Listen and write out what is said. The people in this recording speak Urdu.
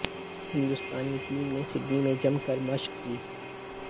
ہندوستانی ٹیم نے سڈنی میں جم کر مشق کی